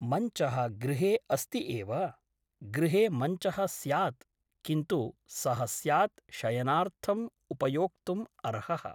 मञ्चः गृहे अस्ति एव । गृहे मञ्चः स्यात् । किन्तु सः स्यात् शयनार्थम् उपयोक्तुम् अर्हः ।